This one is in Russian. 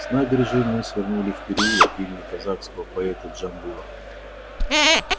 с набережной мы свернули в переулок имени казахского поэта джамбула